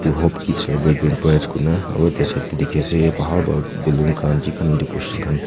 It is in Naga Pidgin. hope kids aro itia side teh dikhi ase bhal para baloon khan ki khan decoration khan--